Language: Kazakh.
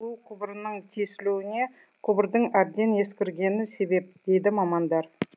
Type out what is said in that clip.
су құбырынынң тесілуіне құбырдың әбден ескіргені себеп дейді мамандар